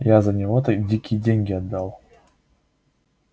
я за него дикие деньги отдал